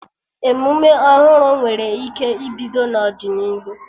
Emume ọhụrụ nwere ike ibido n'ọdịnihu